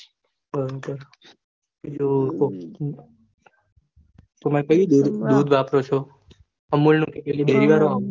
બરોબર તમે કયું દૂધ આપો છો અમુલ નું કે dairy વાળું